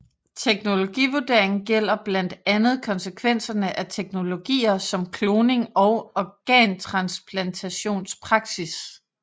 Teknologivurdering gælder blandt andet konsekvenserne af teknologier som kloning og organtransplantationspraksis